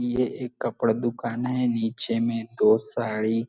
ये एक कपड़ा दुकान है नीचे में दो साड़ी--